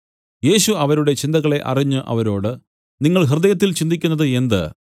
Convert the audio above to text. യേശു അവരുടെ ചിന്തകളെ അറിഞ്ഞ് അവരോട് നിങ്ങൾ ഹൃദയത്തിൽ ചിന്തിക്കുന്നത് എന്ത്